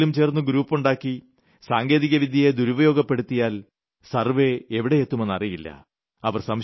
ആരെങ്കിലും ചേർന്ന് ഗ്രൂപ്പുണ്ടാക്കി സാങ്കേതികവിദ്യയെ ദുരുപയോഗപ്പെടുത്തിയാൽ സർവ്വേ എവിടെയെത്തുമെന്ന് അറിയില്ല